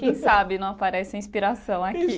Quem sabe não aparece a inspiração aqui.